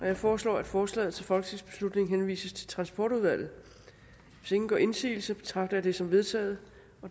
jeg foreslår at forslaget til folketingsbeslutning henvises til transportudvalget hvis ingen gør indsigelse betragter jeg det som vedtaget